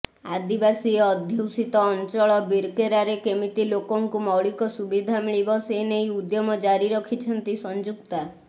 ଆଦିବାସୀ ଅଧ୍ୟୁଷିତ ଅଞ୍ଚଳ ବିର୍କେରାରେ କେମିତି ଲୋକଙ୍କୁ ମୌଳିକ ସୁବିଧା ମିଳିବ ସେନେଇ ଉଦ୍ୟମ ଜାରି ରଖିଛନ୍ତି ସଂଯୁକ୍ତା